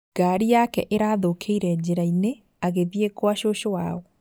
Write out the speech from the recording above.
Ngari yake ĩrathũkĩire njĩra-inĩ agĩthiĩ gwa cũcũ wao